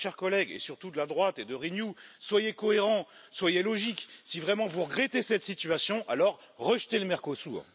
Alors, chers collègues, et surtout de la droite et de Renew, soyez cohérents, soyez logiques, si vraiment vous regrettez cette situation, alors rejetez le Mercosur.